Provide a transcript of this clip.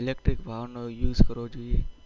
Electric વાહનોનો ઉપયોગ કરવો જોઈએ